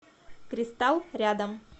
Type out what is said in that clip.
кристалл рядом